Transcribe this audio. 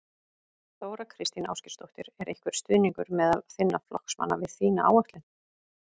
Þóra Kristín Ásgeirsdóttir: Er einhver stuðningur meðal þinna flokksmanna við þína áætlun?